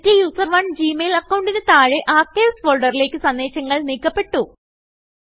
STUSERONEജി mail അക്കൌണ്ടിന് താഴെ Archivesഫോൾഡറിലേക്ക് സന്ദേശങ്ങൾ നീക്കപെട്ടു